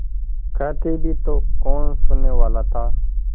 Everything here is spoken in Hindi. कहती भी तो कौन सुनने वाला था